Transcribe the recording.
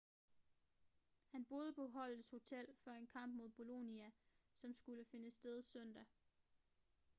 han boede på holdets hotel før en kamp mod bolonia som skulle finde sted søndag